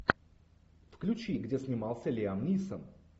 включи где снимался лиам нисон